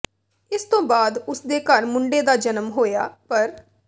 ਇਸ ਤੋਂ ਬਾਅਦ ਉਸਦੇ ਘਰ ਮੁੰਡੇ ਦਾ ਜਨਮ ਹੋਇਆ ਪਰ